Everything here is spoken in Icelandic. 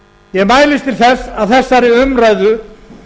ég mælist til þess að þessari umræðu